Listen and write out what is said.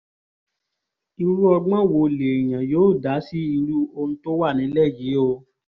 irú ọgbọ́n wo lèèyàn yóò dá sí irú ohun tó wà nílẹ̀ yìí o